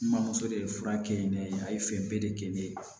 N mamuso de ye fura kɛ yen ne ye a ye fɛn bɛɛ de kɛ ne ye